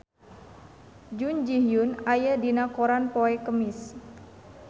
Jun Ji Hyun aya dina koran poe Kemis